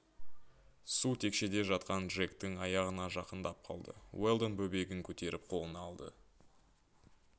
су текшеде жатқан джектің аяғына жақындап қалды уэлдон бөбегін көтеріп қолына алды